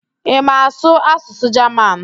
Ị ma asụ asụsụ Jaman?